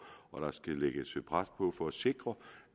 og der skal lægges pres på for at sikre